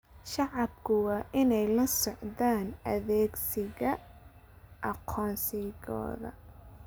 Shacabku waa inay la socdaan adeegsiga aqoonsigooda.